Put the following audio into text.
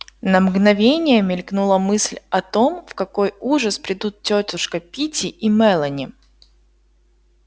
на мгновение мелькнула мысль о том в какой ужас придут тётушка питти и мелани